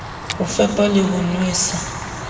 ho fepa le ho nwesa